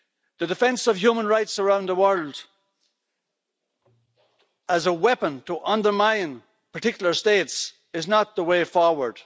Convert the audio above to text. The defence of human rights around the world as a weapon to undermine particular states is not the way forward.